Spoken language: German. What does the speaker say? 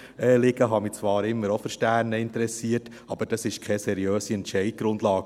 ich habe mich zwar immer auch für Sterne interessiert, aber das ist keine seriöse Entscheidungsgrundlage.